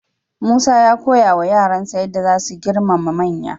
Musa ya koyawa yaransa yadda za su girmama manya.